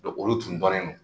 olu tun dɔnnen don